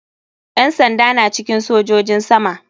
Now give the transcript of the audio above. Yan sanda na cikin sojojin sama